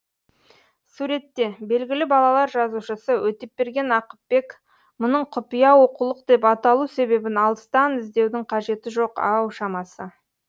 суретте белгілі балалар жазушысы өтепберген ақыпбек мұның құпия оқулық деп аталу себебін алыстан іздеудің қажеті жоқ ау шамасы